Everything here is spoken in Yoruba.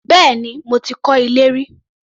Bẹ́ẹ̀ni, mo kan ilé rí